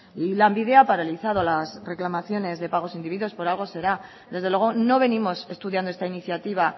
y lanbide ha paralizado las reclamaciones de pagos indebidos por algo será desde luego no venimos estudiando esta iniciativa